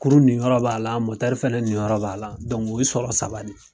Kurun niyɔrɔ b'a fana niyɔrɔ b'a la o ye sɔrɔ saba de ye.